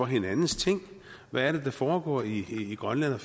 hinandens ting hvad er det der foregår i grønland og